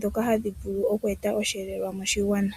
dhoka hadhi vulu okweeta oshielelwa moshigwana.